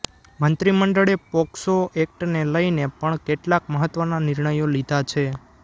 મંત્રી મંડળે પોક્સો એક્ટને લઈને પણ કેટલાક મહત્વના નિર્ણયો લીધા છે